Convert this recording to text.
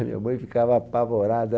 A minha mãe ficava apavorada.